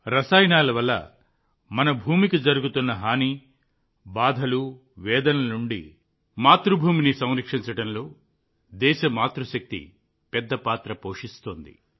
రసాయనాల వల్ల మన భూమి పడుతున్న కష్టాలు బాధలు వేదనల నుండి మన మాతృభూమిని రక్షించడంలో దేశ మాతృశక్తి పెద్ద పాత్ర పోషిస్తోంది